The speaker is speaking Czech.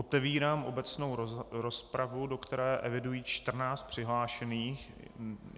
Otevírám obecnou rozpravu, do které eviduji 14 přihlášených.